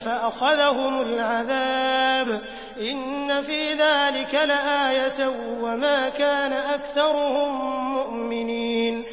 فَأَخَذَهُمُ الْعَذَابُ ۗ إِنَّ فِي ذَٰلِكَ لَآيَةً ۖ وَمَا كَانَ أَكْثَرُهُم مُّؤْمِنِينَ